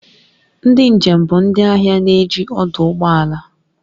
Ndị njem bụ ndị ahịa na-eji ọdụ ụgbọ ala